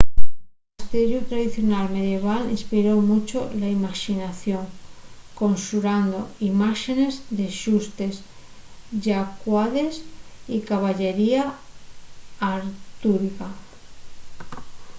el castiellu tradicional medieval inspiró muncho la imaxinación conxurando imáxenes de xustes llacuades y caballería artúrica